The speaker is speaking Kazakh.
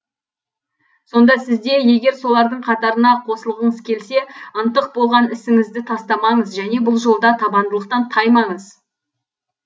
сонда сізде егер солардың қатарына қосылғыңыз келсе ынтық болған ісіңізді тастамаңыз және бұл жолда табандылықтан таймаңыз